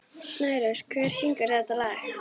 Snærós, hver syngur þetta lag?